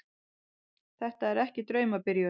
Þetta er ekki draumabyrjun.